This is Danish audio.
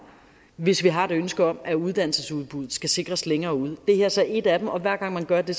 hvis vi har et ønske om at uddannelsesudbuddet skal sikres længere ude det her er så et af dem og hver gang man gør det